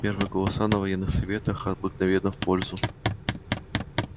первые голоса на военных советах обыкновенно в пользу